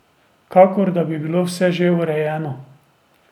Kakor da bi bilo vse že urejeno.